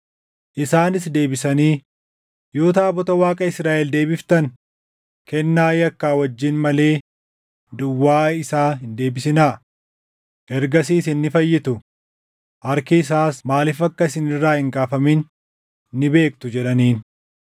Isaanis deebisanii, “Yoo taabota Waaqa Israaʼel deebiftan, kennaa yakkaa wajjin malee duwwaa isaa hin deebisinaa; ergasii isin ni fayyitu; harki isaas maaliif akka isin irraa hin kaafamin ni beektu” jedhaniin.